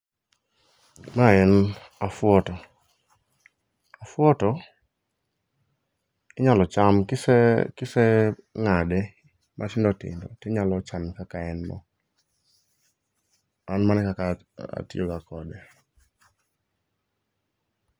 Mae en afuoto. Afuoto inyalo cham kiseng'ade matindotindo tinyalo chame kaka en no. An mano e kaka atiyoga kode.